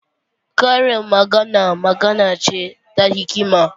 Karin magana magana ce ta hikima.